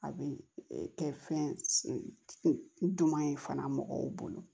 A bɛ kɛ fɛn duman ye fana mɔgɔw bolo